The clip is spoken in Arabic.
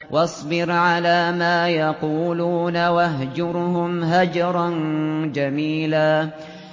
وَاصْبِرْ عَلَىٰ مَا يَقُولُونَ وَاهْجُرْهُمْ هَجْرًا جَمِيلًا